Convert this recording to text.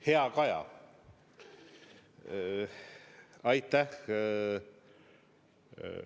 Hea Kaja!